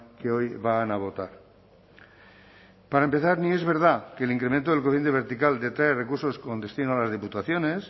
que hoy van a votar para empezar ni es verdad que el incremento del coeficiente vertical detrae recursos con destino a las diputaciones